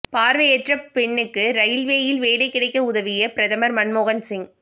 பார்வையற்ற பெண்ணுக்கு ரயில்வேயில் வேலை கிடைக்க உதவிய பிரதமர் மன்மோகன் சிங்